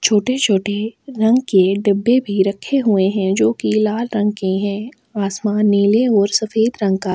छोटे- छोटे रंग के डब्बे भी रखे हुए है जो की लाला रंग के है आसमान नील और सफ़ेद रंग का। --